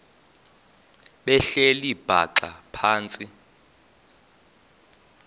behleli bhaxa phantsi